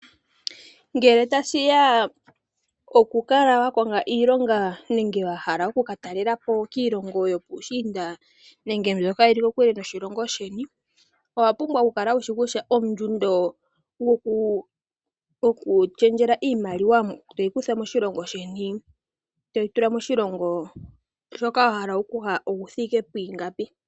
Ngele tashiya pokukala wakonga iilonga nenge okukatalelapo piilongo yopuushiinda Nenge mbyoka yili kokule noshilogo sheni owapumbwa okukala wushi kutya ondjundo yoku shendjela iimaliwa toyi kutha moshilongo sheni toyi tula moshilongo shoka wahala okuya okuthike pwiingapi.